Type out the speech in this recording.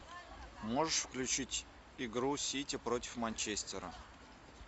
можешь включить игру сити против манчестера